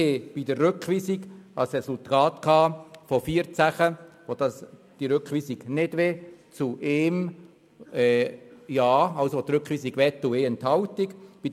Bei der Rückweisung fiel das Abstimmungsresultat mit 14 Nein, 1 Ja und eine 1 Enthaltung aus.